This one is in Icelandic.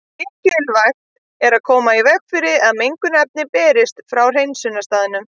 Mikilvægt er að koma í veg fyrir að mengunarefni berist frá hreinsunarstaðnum.